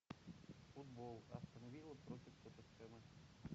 футбол астон вилла против тоттенхэма